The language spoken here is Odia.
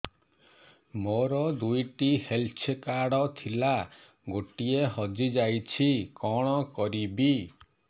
ମୋର ଦୁଇଟି ହେଲ୍ଥ କାର୍ଡ ଥିଲା ଗୋଟିଏ ହଜି ଯାଇଛି କଣ କରିବି